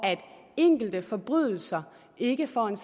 enkelte forbrydelser ikke får en